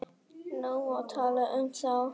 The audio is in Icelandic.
Nú má tala um þá.